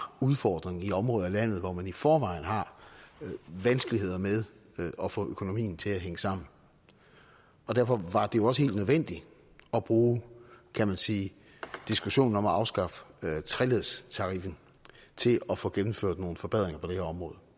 udfordring i et område af landet hvor man i forvejen har vanskeligheder med at få økonomien til at hænge sammen og derfor var det jo også helt nødvendigt at bruge kan man sige diskussionen om at afskaffe treledstariffen til at få gennemført nogle forbedringer på det her områder